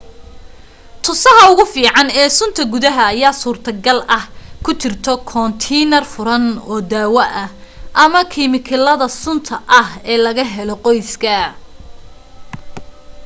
tusaha ugu fiican ee sunta gudaha ayaa suurto gal ah ku jirto koontiinar furan oo daawo ah amma kimikaalada sunta ah ee laga helo qoyska